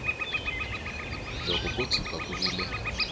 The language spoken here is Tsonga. loko ko tshuka ku vile